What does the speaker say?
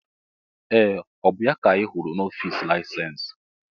Ee! Ọ bụ ya ka anyị hụrụ n'ọfịs laịsensị?